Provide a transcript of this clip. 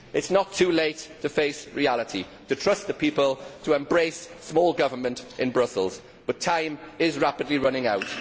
It is not too late to face reality, to trust the people and to embrace small government in Brussels, but time is rapidly running out.